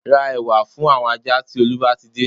Ra ẹ̀wà fún àwọn ajá tí Olú bá ti dé